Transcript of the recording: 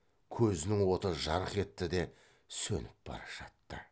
көзінің оты жарқ етті де сөніп бара жатты